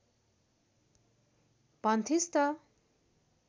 भन्थिस् त